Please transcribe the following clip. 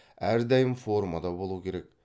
әрдайым формада болу керек